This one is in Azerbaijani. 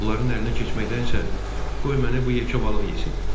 Onların əlinə keçməkdənsə, qoy məni bu yekə balıq yesin.